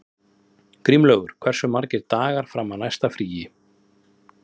Grímlaugur, hversu margir dagar fram að næsta fríi?